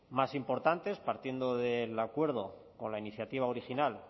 más importantes partiendo del acuerdo con la iniciativa original